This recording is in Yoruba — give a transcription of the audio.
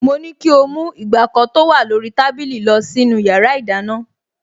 Mo ní kí ó mú ìgbàkọ tó wà lórí tábìlì lọ sínú yàrá ìdáná